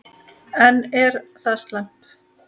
En er það slæmt?